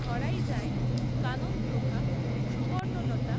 ধরাই যায় কাননপ্রভা, সুবর্ণলতা,